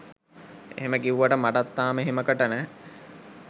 එහෙම කිව්වට මටත් තාම එහෙමකට නෑ